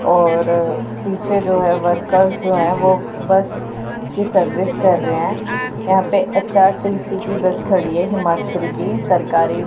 और पीछे जो है वर्कर्स जो है वो बस की सर्विस कर रहे हैं यहां पर एच_टी_सी की बस खड़ी है हिमाचल की सरकारी--